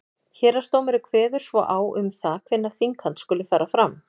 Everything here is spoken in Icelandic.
héraðsdómari kveður svo á um það hvenær þinghald skuli fara fram